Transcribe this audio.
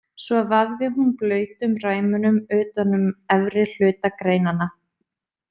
Svo vafði hún blautum ræmunum utan um efri hluta greinanna.